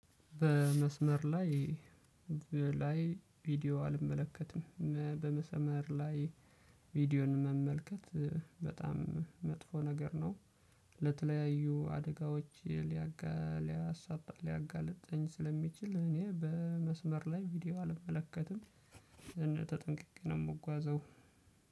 በመስመር ላይ በላይ ቪዲዮ አልመለከትም። በመስመር ላይ ቪዲዮን መመልከት በጣም መጥፎ ነገር ነው። ለተለያዩ አደጋዎች ሊያጋልጥ ሊያሳጣ ሊያጋልጠኝ ስለሚችል እኔ በመስመር ላይ ቪዲዮ አልመለከትም። እና ተጠንቅቄ ነው የምጓዘው።